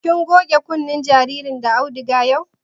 Kin goge kunnen jaririn da auduga yau?